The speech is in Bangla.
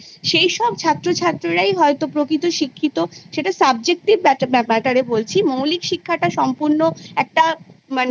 সেইসব ছাত্র ছাত্রীরাই হয়তো প্রকৃত শিক্ষিত সেটা Subjective Matter এ বলছি মৌলিক শিক্ষাটা সম্পূর্ণ একটা মানে